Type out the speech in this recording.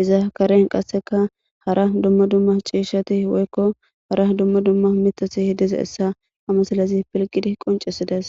iza karen hara dumma dumma cishati woyko hara mithati dizaysa ha misilezi pilgidi qoncisides